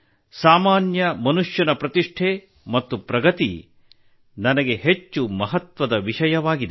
ಸಾಮಾನ್ಯ ಮನುಷ್ಯನ ಪ್ರತಿಷ್ಠೆ ಮತ್ತು ಪ್ರಗತಿ ನನಗೆ ಹೆಚ್ಚು ಮಹತ್ವದ ವಿಷಯವಾಗಿದೆ